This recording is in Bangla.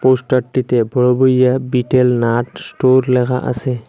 পোস্টারটিতে বড়ঘরিয়া বিটেল নাট স্টোর লেখা আসে।